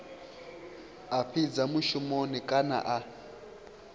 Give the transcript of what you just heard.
a fhidza mushumoni kana a